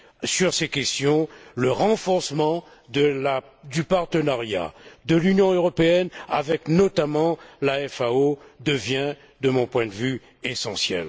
Sur ces questions, le renforcement du partenariat de l'Union européenne avec, notamment, la FAO devient, de mon point de vue, essentiel.